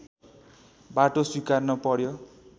बाटो स्वीकार्नु पर्‍यो